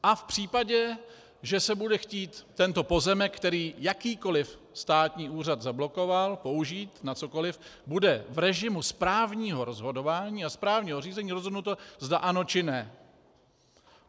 A v případě, že se bude chtít tento pozemek, který jakýkoliv státní úřad zablokoval, použít na cokoli, bude v režimu správního rozhodování a správního řízení rozhodnuto, zda ano, či ne.